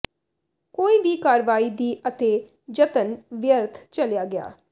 ਕੋਈ ਵੀ ਕਾਰਵਾਈ ਦੀ ਅਤੇ ਜਤਨ ਵਿਅਰਥ ਚਲਿਆ ਗਿਆ